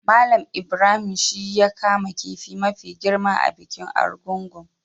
Mallam Ibrahim shi ya kama kifi mafi girma a bikin Argungu.